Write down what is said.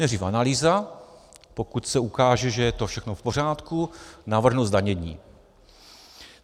Nejdřív analýza, pokud se ukáže, že je to všechno v pořádku, navrhnu zdanění.